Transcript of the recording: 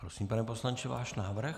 Prosím, pane poslanče, váš návrh.